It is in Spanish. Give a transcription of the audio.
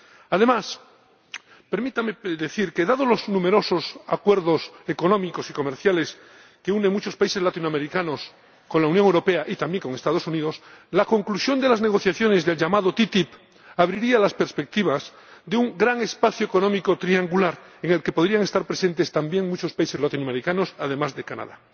Además, permítanme decir que, dados los numerosos acuerdos económicos y comerciales que unen a muchos países latinoamericanos con la Unión Europea y también con los Estados Unidos, la conclusión de las negociaciones de la ATCI abriría las perspectivas de un gran espacio económico triangular, en el que podrían estar presentes también muchos países latinoamericanos, además de Canadá.